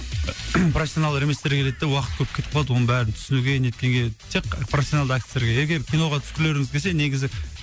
профессионалдар еместер келеді де уақыт көп кетіп қалады оның бәрін түсінуге неткенге тек профессионалды әртістер керек егер киноға түскілеріңіз келсе негізі